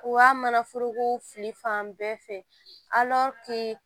U ka mana foroko fili fan bɛɛ fɛ